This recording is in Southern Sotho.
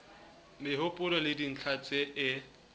mehopolo le dintlha tse e